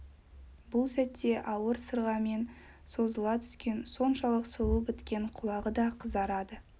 бұл сәтте ауыр сырғамен созыла түскен соншалық сұлу біткен құлағы да қызарады